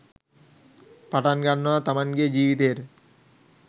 පටන් ගන්නවා තමන්ගේ ජීවිතයට